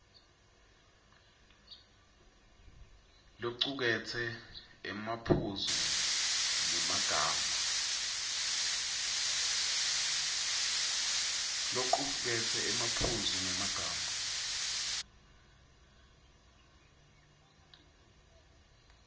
locuketse emaphuzu ngemagama